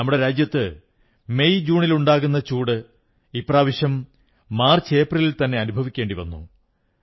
നമ്മുടെ രാജ്യത്ത് മെയ് ജൂണിലുണ്ടാകുന്ന ചൂട് ഇപ്രാവശ്യം മാർച്ച് ഏപ്രിലിൽതന്നെ അനുഭവിക്കേണ്ടി വന്നു